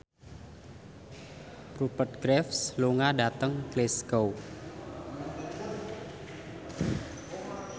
Rupert Graves lunga dhateng Glasgow